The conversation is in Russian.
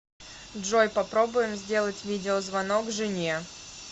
джой попробуем сделать видеозвонок жене